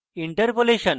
interpolation